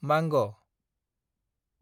मांग